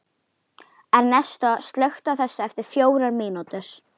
Ernestó, slökktu á þessu eftir fjórar mínútur.